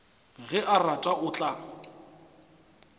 ge a rata o tla